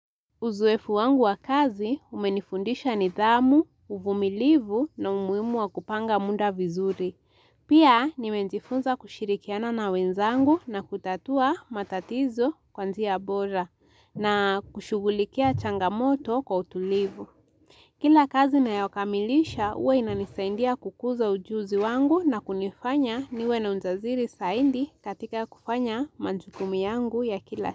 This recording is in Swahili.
Uzoefu wangu wa kazi umenifundisha nidhamu, uvumilivu na humuimu wa kupanga muda vizuri. Pia nimejifunza kushirikiana na wenzangu na kutatua matatizo kwanzia bora na kushugulikia changamoto kwa utulivu. Kila kazi nayo kamilisha uwe inanisaindia kukuza ujuzi wangu na kunifanya niwe na ujasiri zaidi katika kufanya majukumi yangu ya kila.